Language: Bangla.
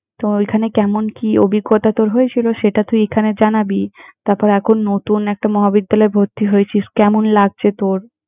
তো ওইখানে কেমন কি অভিজ্ঞতা তোর হয়েছিলো, সেটা তুই এখানে জানাবি। তারপর, এখন নতুন একটা মহাবিদ্যালয়ে ভর্তি হয়েছিস, কেমন লাগছে তোর!